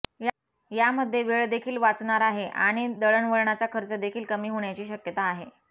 यामध्ये वेळ देखील वाचणार आहे आणि दळणवळणाचा खर्च देखील कमी होण्याची शक्यता आहे